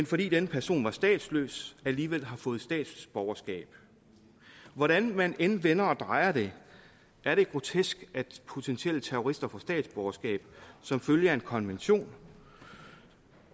fordi denne person var statsløs alligevel har fået statsborgerskab hvordan man end vender og drejer det er det grotesk at potentielle terrorister får statsborgerskab som følge af en konvention